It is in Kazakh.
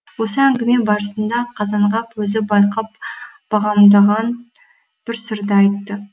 осы әңгіме барысында қазанғап өзі байқап бағамдаған бір сырды айтты